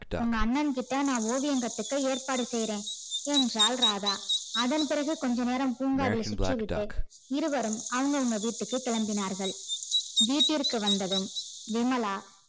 உங்க அண்ணகிட்ட நா ஓவியம் கத்துக்க ஏற்பாடு செய்யற என்றால் ராதா அதன் பிறகு கொஞ்ச நேரம் பூங்காவில் சுற்றிவிட்டு இருவரும் அவங்க அவங்க வீட்டுக்கு கிளம்பினார்கள் வீட்டிற்கு வந்ததும் விமலா